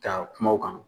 Ka kuma o kan